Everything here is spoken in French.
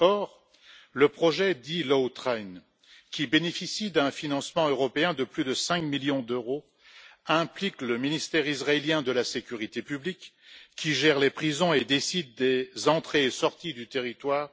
Or, le projet dit Lawtrain, qui bénéficie d'un financement européen de plus de 5 millions d'euros, implique le ministère israélien de la sécurité publique, qui gère les prisons et décide des entrées et sorties du territoire.